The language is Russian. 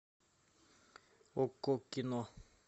окко кино